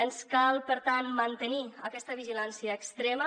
ens cal per tant mantenir aquesta vigilància extrema